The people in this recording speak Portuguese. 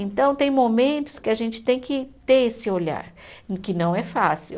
Então, tem momentos que a gente tem que ter esse olhar, que não é fácil.